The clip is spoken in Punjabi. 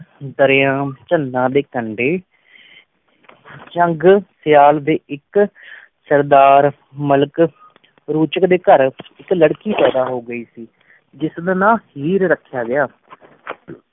ਦੇਰਯਮ ਚੰਦਾ ਦੇ ਕੰਡੇ ਚਾੰਗ ਸਿਆਲ ਦੇ ਏਕ ਸਰ੍ਦਾਰ ਮਲਿਕ ਰੂਚਕ ਦੇ ਘਰ ਏਕ ਲਰਕੀ ਪੈਦਾ ਹੋ ਗਈ ਸੀ ਜਿਸ ਦਾ ਨਾਮ ਹੀਰ ਰ੍ਖਇਆ ਗਇਆ